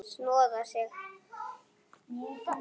Snoða þig?